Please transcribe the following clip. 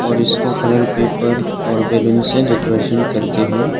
और इसको कलर-पेपर और बैलून से डेकोरेशन करके है।